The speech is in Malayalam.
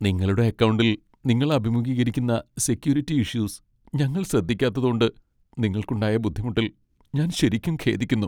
നിങ്ങളുടെ അക്കൗണ്ടിൽ നിങ്ങൾ അഭിമുഖീകരിക്കുന്ന സെക്യൂരിറ്റി ഇഷ്യൂസ് ഞങ്ങൾ ശ്രദ്ധിക്കാത്തതോണ്ട് നിങ്ങൾക്ക് ഉണ്ടായ ബുദ്ധിമുട്ടിൽ ഞാൻ ശരിക്കും ഖേദിക്കുന്നു.